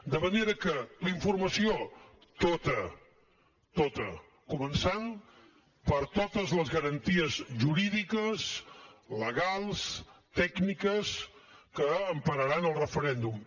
de manera que la informació tota tota començant per totes les garanties jurídiques legals tècniques que empararan el referèndum